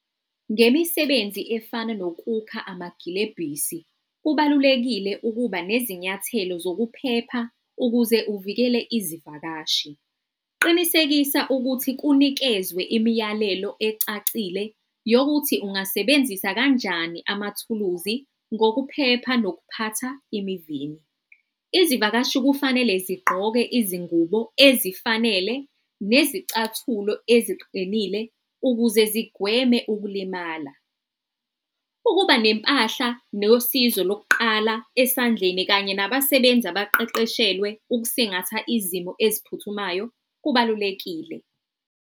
Ngemisebenzi efana nokukha amagilebhisi, kubalulekile ukuba nezinyathelo zokuphepha ukuze uvikele izivakashi. Qinisekisa ukuthi kunikezwe imiyalelo ecacile yokuthi ungasebenzisa kanjani amathuluzi ngokuphepha nokuphatha emivini. Izivakashi kufanele zigqoke izingubo ezifanele nezicathulo eziqinile ukuze zigweme ukulimala. Ukuba nempahla nosizo lokuqala esandleni kanye nabasebenzi abaqeqeshelwe ukusingatha izimo eziphuthumayo kubalulekile.